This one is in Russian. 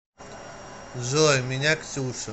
джой меня ксюша